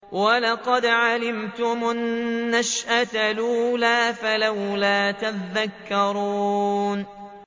وَلَقَدْ عَلِمْتُمُ النَّشْأَةَ الْأُولَىٰ فَلَوْلَا تَذَكَّرُونَ